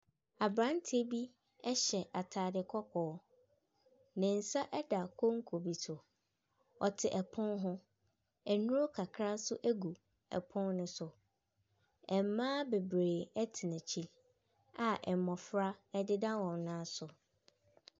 Aberanteɛ bi ɛhyɛ ataade kɔkɔɔ. Ne nsa ɛda konko bi so. Ɔte ɛpono ho. Nduro kakra so egu ɛpono so. Ɛmbaa bebree ɛte n'ekyi a mbɔfra ɛdeda wɔn nan so.